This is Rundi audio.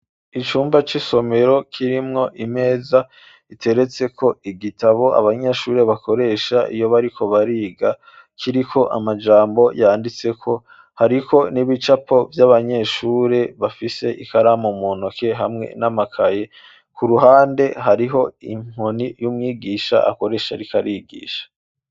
Icumba c'isomero kirimwo imeza iteretseko igitabo abanyeshuri bakoresha iyo bariko bariga, kiriko amajambo yanditseko, hariko n'ibicapo vy'abanyeshuri bafise ikaramu mu ntoke hamwe n'amakaye. Ku ruhande hariho inkoni y'umwigisha akoresha ariko arigisha.